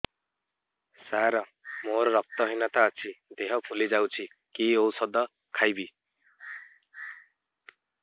ସାର ମୋର ରକ୍ତ ହିନତା ଅଛି ଦେହ ଫୁଲି ଯାଉଛି କି ଓଷଦ ଖାଇବି